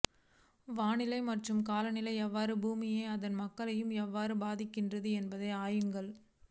வானிலை மற்றும் காலநிலை எவ்வாறு பூமியையும் அதன் மக்களையும் எவ்வாறு பாதிக்கின்றன என்பதை ஆய்வுகள்